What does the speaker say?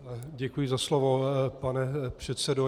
Děkuji za slovo, pane předsedo.